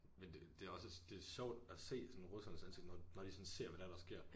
Men det det også det sjovt at se sådan russernes ansigter når når de sådan ser hvad det er der sker